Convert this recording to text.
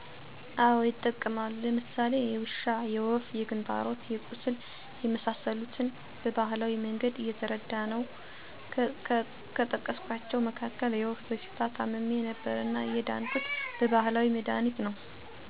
አወ ይጠቀማሉ። ለምሳሌ የውሻ፣ የወፍ፣ የክንታሮት፣ የቁስል የመሰሰሉትን በባህላዊ መንገድ እየተረዳነው ከጠቀስኳቸው መካክል የወፍ በሽታ ታምሜ ነበርና የዳንሁት በባህላዊ መድሀኒት ነው። ከዘመናዊ መድሃኒቶች ገር ሚወዳደርበት መጠን በመለካት ያንሳል ይበዛል በማለት ይወዳደራሉ።